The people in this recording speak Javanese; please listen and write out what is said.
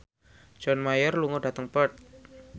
John Mayer lunga dhateng Perth